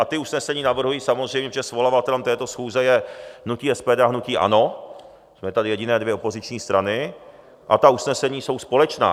A ta usnesení navrhuji samozřejmě, protože svolavatelem této schůze je hnutí SPD a hnutí ANO, jsme tady jediné dvě opoziční strany, a ta usnesení jsou společná.